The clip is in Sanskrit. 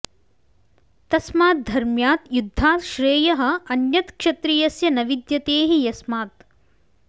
तस्मात् धर्म्यात् युद्धात् श्रेयः अन्यत् क्षत्रियस्य न विद्यते हि यस्मात्